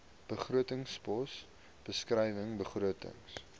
begrotingspos beskrywing begrotings